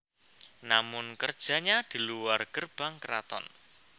Namun kerjanya di luar Gerbang Keraton